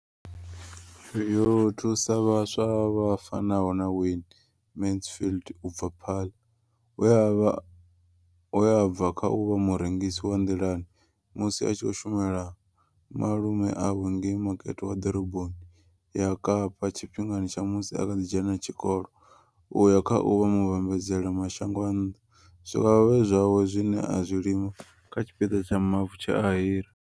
Yo thusa vhaswa vha fanaho na Wayne Mansfield u bva Paarl, we a vha we a bva kha u vha murengisi wa nḓilani musi a tshi khou shumela malume awe ngei makete wa Ḓoroboni ya Kapa tshifhingani tsha musi a kha ḓi dzhena tshikolo u ya kha u vha muvhambadzela mashango a nnḓa zwikavhavhe zwawe zwine a zwi lima kha tshipiḓa tsha mavu tshe a hira.